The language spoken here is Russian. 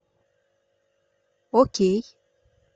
окей